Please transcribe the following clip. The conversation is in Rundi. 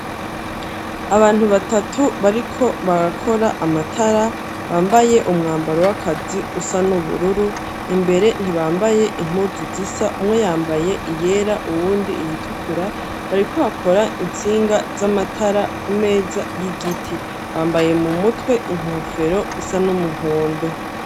Abantu batatu, bariko barakora amatara, bambaye umwambaro w'akazi usa n'ubururu; imbere ntibambaye impuzu zisa; umwe yambaye iyera, uwundi iyitukura, bariko hakora intsinga z'amatara, ku meza y'igiti; bambaye mu mutwe, inkofero isa n'umuhondo.